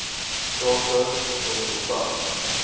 take n konsultant